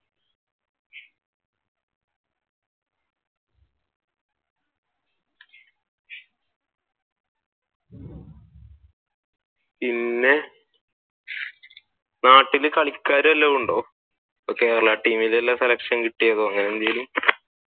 പിന്നെ നാട്ടിൽ കളിക്കാർ വെല്ലോം ഉണ്ടോ? കേരള ടീമിൽ തന്നെ selection കിട്ടിയതോ? അങ്ങനെ എന്തെങ്കിലും?